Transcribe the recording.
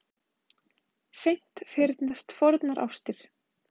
Seint fyrnast fornar ástir.